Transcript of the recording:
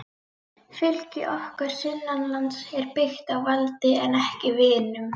Fylgi okkar sunnanlands er byggt á valdi en ekki vinum.